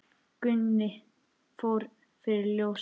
Gunni fór fyrir ljósið.